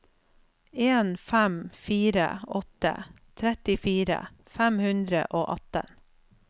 en fem fire åtte trettifire fem hundre og atten